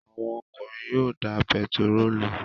Àwọn ọkùnrin yóò da pẹtírólù